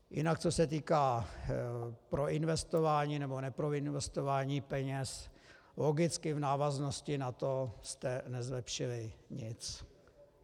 Jinak co se týká proinvestování nebo neproinvestování peněz, logicky v návaznosti na to jste nezlepšili nic.